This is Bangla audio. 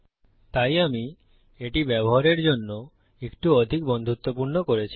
তাই আমি একে ব্যবহারের জন্য আরো একটু বেশি বন্ধুত্বপূর্ণ করেছি